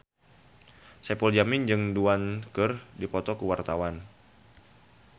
Saipul Jamil jeung Du Juan keur dipoto ku wartawan